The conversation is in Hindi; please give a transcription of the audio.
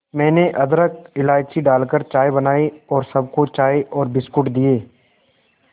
मैंने अदरक इलायची डालकर चाय बनाई और सबको चाय और बिस्कुट दिए